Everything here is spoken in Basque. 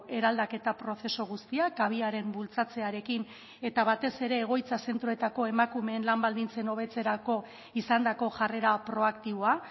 eraldaketa prozesu guztia kabiaren bultzatzearekin eta batez ere egoitza zentroetako emakumeen lan baldintzen hobetzerako izandako jarrera proaktiboa